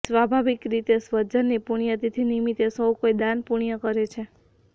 સ્વાભાવિક રીતે સ્વજનની પુણ્યતિથિ નિમિતે સૌ કોઈ દાન પુણ્ય કરે છે